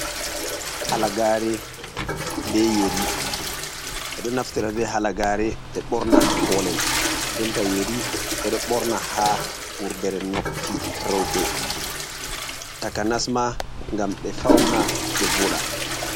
Halagare be yeri. Ɓe ɗo naftira be halagare ɓe borna haa kolel, denta yeri ɓe ɗo borna haa wurdere noppi reuɓe taka nasma ngam ɓe fauna ɓe voda.